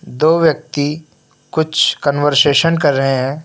दो व्यक्ति कुछ कन्वर्सेशन कर रहे हैं।